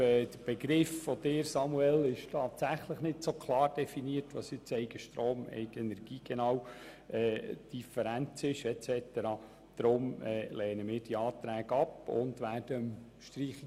Die von Ihnen, Samuel Leuenberger, gewählten Begriffe «Eigenstrom» und «Eigenenergie» sind tatsächlich nicht klar definiert.